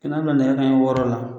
kɛ na bila nɛgɛ kanɲɛ wɔɔrɔ la.